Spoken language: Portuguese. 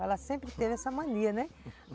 Ela sempre teve essa mania, né?